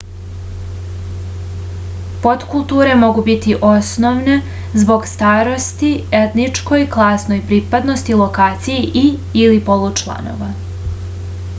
поткултуре могу бити особене због старости етничкој класној припадности локацији и/или полу чланова